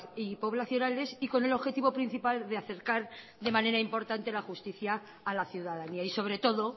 y poblacionales y con el objetivo principal de acercar de manera importante la justicia a la ciudadanía y sobre todo